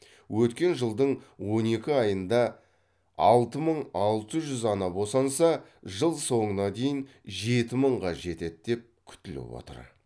өткен жылдың он екі айында алты мың алты жүз ана босанса жыл соңына дейін жеті мыңға жетеді деп күтіліп отыр